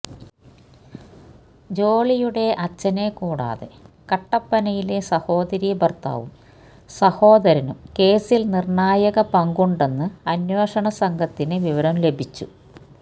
ജോളിയുടെ അച്ഛനെ കൂടാതെ കട്ടപ്പനയിലെ സഹോദരീ ഭർത്താവും സഹോദരനും കേസിൽ നിർണായക പങ്കുണ്ടെന്ന് അന്വേഷണ സംഘത്തിന് വിവരം ലഭിച്ചു